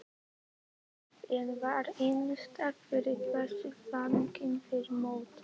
En var innistæða fyrir þessum væntingum fyrir mót?